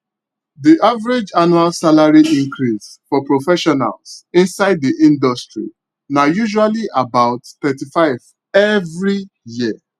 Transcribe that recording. the average annual salary increase for professionals inside the industry na usually about 35 every year